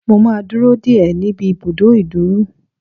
Mo máa dúró dè ẹ́ níbi ibùdó ìdúrú.